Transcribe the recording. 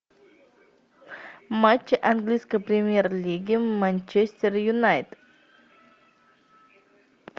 матч английской премьер лиги манчестер юнайтед